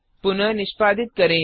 पुनः निष्पादित करें